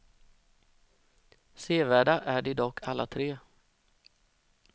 Sevärda är de dock alla tre.